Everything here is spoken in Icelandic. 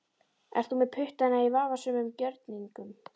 Ert þú með puttana í vafasömum gjörningum?